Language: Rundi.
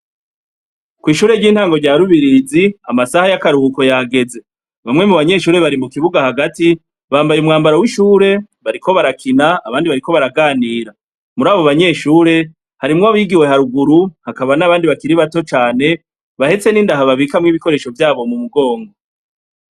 Kw'ishure ry'intango rya rubirizi amasaha y'akaruhuko yageze bamwe mu banyeshure bari mu kibuga hagati bambaye umwambaro w'ishure bariko barakina abandi bariko baraganira muri abo banyeshure harimwo abigiwe haruguru hakaba n'abandi bakiri bato cane bahetse n'indaha babikamwo ibikoresho vyabo mu mugongo.